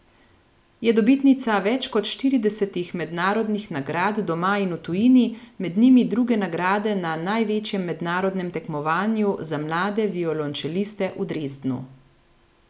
Je dobitnica več kot štiridesetih mednarodnih nagrad doma in v tujini, med njimi druge nagrade na največjem mednarodnem tekmovanju za mlade violončeliste v Dresdnu.